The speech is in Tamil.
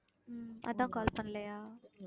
உம் அதான் call பண்ணலையா